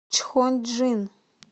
чхонджин